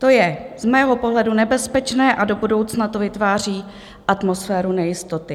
To je z mého pohledu nebezpečné a do budoucna to vytváří atmosféru nejistoty.